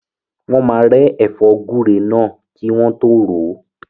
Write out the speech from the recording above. Wọ́n máa rẹ́ ẹ̀fọ́ gúre náà kí wọ́n tọ́ ròó.